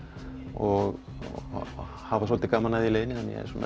og hafa svolítið gaman að því í leiðinni